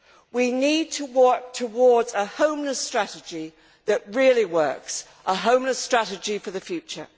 We need to work towards a homeless strategy that really works a homeless strategy for the future.